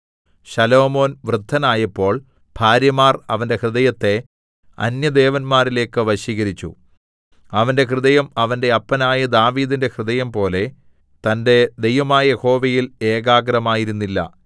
ശലോമോൻ വൃദ്ധനായപ്പോൾ ഭാര്യമാർ അവന്റെ ഹൃദയത്തെ അന്യദേവന്മാരിലേക്ക് വശീകരിച്ചു അവന്റെ ഹൃദയം അവന്റെ അപ്പനായ ദാവീദിന്റെ ഹൃദയംപോലെ തന്റെ ദൈവമായ യഹോവയിൽ ഏകാഗ്രമായിരുന്നില്ല